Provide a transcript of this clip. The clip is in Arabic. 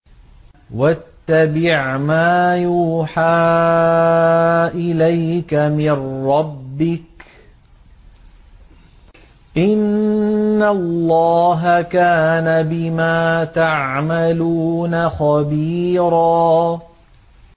وَاتَّبِعْ مَا يُوحَىٰ إِلَيْكَ مِن رَّبِّكَ ۚ إِنَّ اللَّهَ كَانَ بِمَا تَعْمَلُونَ خَبِيرًا